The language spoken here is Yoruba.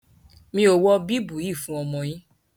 Mi o wọ bíbùù yíì fún ọmọ yín.